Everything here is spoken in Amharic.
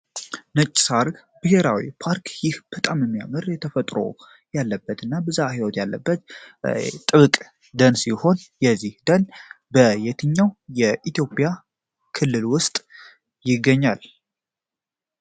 ነጭ ሳር ብሔራዊ ፓርክ ይህ የተፈጥሮ ውበት ያለበትና ብዘሀ ህይወት ያለበት ጥብቅ ደን ሲሆን ይህ በየትኛው የኢትዮጵያ ክልል ውስጥ ይገኛል?